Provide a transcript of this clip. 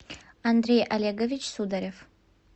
андрей олегович сударев